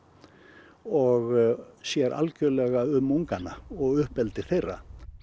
og sér algerlega um ungana og uppeldi þeirra